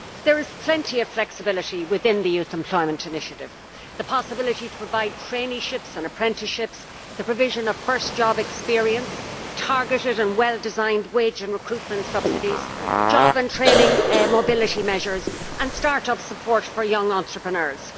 There is plenty of flexibility within the Youth Employment Initiative the possibility to provide traineeships and apprenticeships, the provision of first job experience, targeted and well designed wage and recruitment subsidies, job and training mobility measures and start up support for young entrepreneurs.